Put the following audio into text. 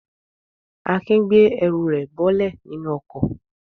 Akin gbé ẹrù rẹ̀ bọ́lẹ̀ nínú ọkọ̀.